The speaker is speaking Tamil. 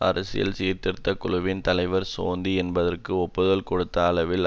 அரசியல் சீர்திருத்த குழுவின் தலைவர் சோந்தி என்பதற்கு ஒப்புதல் கொடுத்த அளவில்